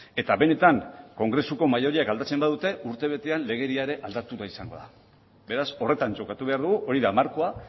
eta benetan kongresuko maioriak aldatzen badute urtebetean legedia ere aldatua izango da beraz horretan jokatu behar dugu hori da markoa